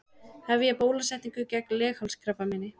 Hefja bólusetningu gegn leghálskrabbameini